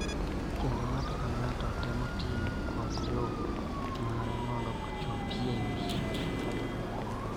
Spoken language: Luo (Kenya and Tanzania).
Kendo ng�ato ka ng�ato temo tiyo kod yo mare mondo ochop e wi.